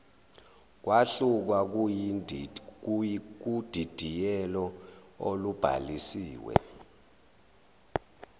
kwahluka kudidiyelo olubhalisiwe